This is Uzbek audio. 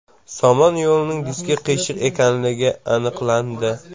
Somon yo‘lining diski qiyshiq ekanligi aniqlandi.